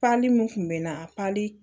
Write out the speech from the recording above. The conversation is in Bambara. Pali mun kun bɛ na